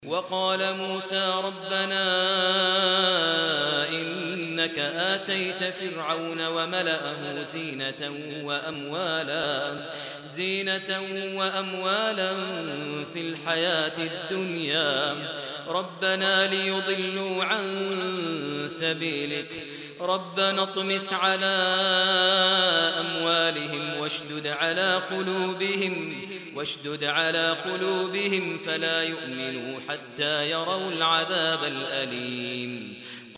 وَقَالَ مُوسَىٰ رَبَّنَا إِنَّكَ آتَيْتَ فِرْعَوْنَ وَمَلَأَهُ زِينَةً وَأَمْوَالًا فِي الْحَيَاةِ الدُّنْيَا رَبَّنَا لِيُضِلُّوا عَن سَبِيلِكَ ۖ رَبَّنَا اطْمِسْ عَلَىٰ أَمْوَالِهِمْ وَاشْدُدْ عَلَىٰ قُلُوبِهِمْ فَلَا يُؤْمِنُوا حَتَّىٰ يَرَوُا الْعَذَابَ الْأَلِيمَ